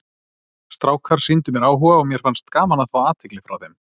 Strákar sýndu mér áhuga og mér fannst gaman að fá athygli frá þeim.